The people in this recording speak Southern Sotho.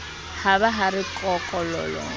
ha ba ha re kokololo